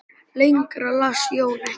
Lengra las Jón ekki.